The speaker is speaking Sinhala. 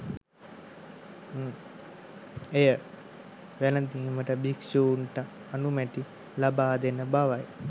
එය වැළඳීමට භික්ෂුන්ට අනුමැතිය ලබාදෙන බවයි.